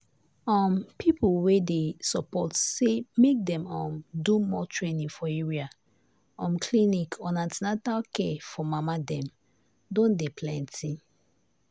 um people wey dey support say make dem um do more training for area um clinics on an ten atal care for mama dem don dey plenty.